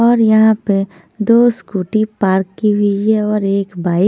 और यहाँ पे दो स्कूटी पार्क की हुई हैऔर एक बाइक --